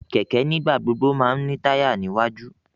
Kẹkẹ nigbagbogbo má n ni taya ni iwaju